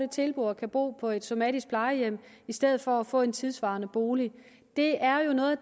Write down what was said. tilbud om at bo på et somatisk plejehjem i stedet for at få en tidssvarende bolig det er jo noget